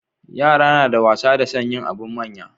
Yara nada wasa da son yin abun manya